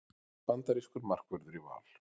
Bandarískur markvörður í Val